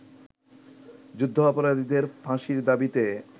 যুদ্ধাপরাধীদের ফাঁসির দাবীতে